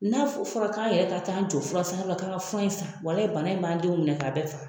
N'a fɔra k'an yɛrɛ ka t'an jɔ fursanyɔrɔ la k'an ka fura in san bana in b'an denw bɛɛ minɛ k'a bɛɛ faga.